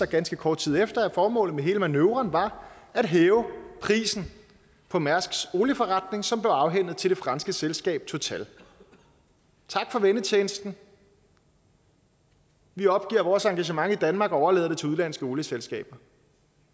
ganske kort tid efter at formålet med hele manøvren var at hæve prisen for mærsks olieforretning som blev afhændet til det franske selskab total tak for vennetjenesten vi opgiver vores engagement i danmark og overlader det til udenlandske olieselskaber